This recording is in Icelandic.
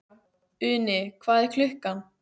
Uni, hvað er klukkan?